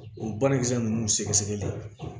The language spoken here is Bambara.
O banakisɛ ninnu sɛgɛsɛgɛli